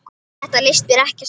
Þetta leist mér ekkert á.